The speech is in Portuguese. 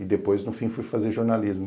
E depois, no fim, fui fazer jornalismo.